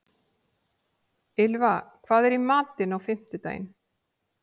Ylfa, hvað er í matinn á fimmtudaginn?